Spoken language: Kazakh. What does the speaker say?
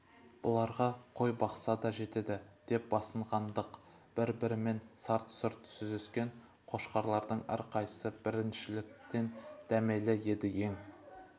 бұларға қой бақса да жетеді деп басынғандық бір-бірімен сарт-сұрт сүзіскен қошқарлардың әрқайсысы біріншіліктен дәмелі еді ең